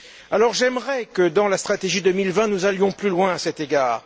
Alors j'aimerais que, dans la stratégie 2020, nous allions plus loin à cet égard.